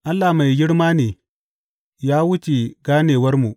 Allah mai girma ne, ya wuce ganewarmu!